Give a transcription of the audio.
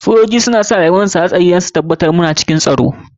Sojoji suna sa rayuwarsu da dabararsu a cikin aiki domin su tabatar da muna cikin tsaro.